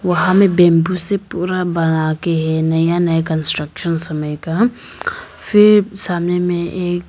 वहां में बैंबू से पूरा बनाके है नया नया कंस्ट्रक्शन समय का फिर सामने में एक--